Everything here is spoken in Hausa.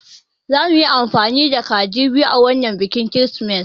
Zamuyi amfani da kaji biyu a wanan bikin kirismas